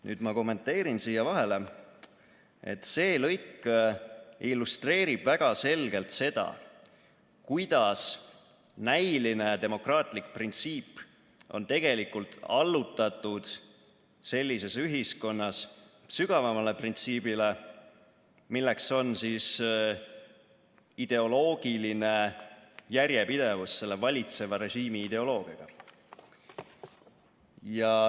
" Nüüd ma kommenteerin siia vahele, et see lõik illustreerib väga selgelt seda, kuidas näiline demokraatlik printsiip on tegelikult sellises ühiskonnas allutatud sügavamale printsiibile, milleks on ideoloogiline järjepidevus selle valitseva režiimi ideoloogiaga.